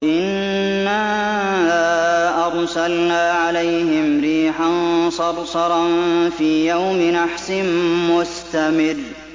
إِنَّا أَرْسَلْنَا عَلَيْهِمْ رِيحًا صَرْصَرًا فِي يَوْمِ نَحْسٍ مُّسْتَمِرٍّ